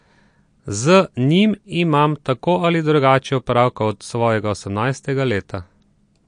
Z njim imam tako ali drugače opravka od svojega osemnajstega leta.